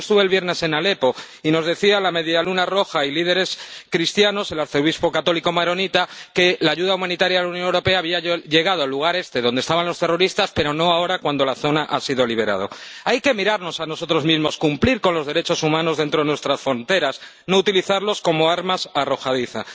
Mire, yo estuve el viernes en Alepo y nos decían la Media Luna Roja y líderes cristianos —el arzobispo católico maronita que la ayuda humanitaria de la Unión Europea había llegado al lugar este donde estaban los terroristas, pero no ahora, cuando la zona ha sido liberada. Tenemos que mirarnos a nosotros mismos, cumplir los derechos humanos dentro de nuestras fronteras, no utilizarlos como armas arrojadizas.